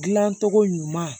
Dilancogo ɲuman